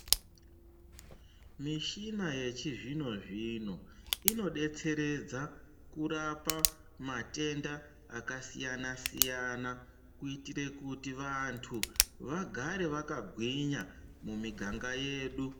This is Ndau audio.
Michina yechizvinozvino inodetseredza kurapa matenda akasiyana siyana kuitire kuti vantu vagare vakagwinya mumiganga yedu.